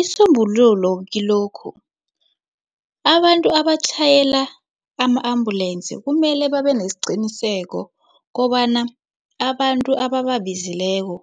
Isisombululo kilokhu abantu abatjhayela ama-ambulensi kumele babe nesiqiniseko kobana abantu abababizileko